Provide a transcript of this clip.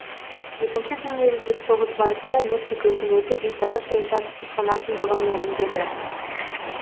екінші дүниежүзілік соғыс барысында мексика үкіметі бейтарап саясат ұстанатындығын мәлімдеді